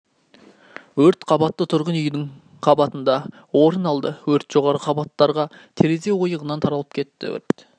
өрт қабатты тұрғын үйдің қабатында орын алды өрт жоғарғы қабаттарға терезе ойығынан таралып кетті өрт